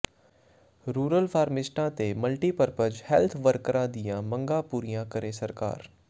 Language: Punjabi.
ਰੂਰਲ ਫਾਰਮਿਸਟਾਂ ਤੇ ਮਲਟੀਪਰਪਰਜ ਹੈਲਥ ਵਰਕਰਾਂ ਦੀਆਂ ਮੰਗਾਂ ਪੂਰੀਆਂ ਕਰੇ ਸਰਕਾਰ